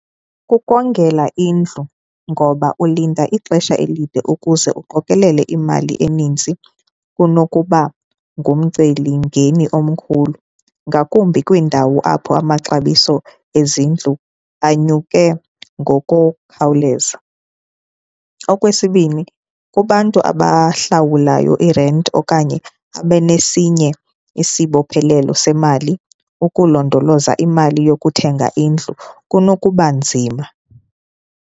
Kukongela indlu ngoba ulinda ixesha elide ukuze uqokelele imali eninzi kunokuba ngumcelimngeni omkhulu ngakumbi kwiindawo apho amaxabiso ezindlu anyuke ngokukhawuleza. Okwesibini, kubantu abahlawulayo irenti okanye abe nesinye isibophelelo semali ukulondoloza imali yokuthenga indlu kunokuba nzima.